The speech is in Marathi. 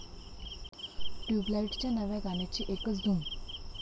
ट्युबलाइट'च्या नव्या गाण्याची एकच धूम